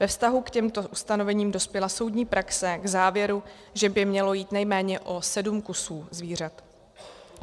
Ve vztahu k těmto ustanovením dospěla soudní praxe k závěru, že by mělo jít nejméně o sedm kusů zvířat.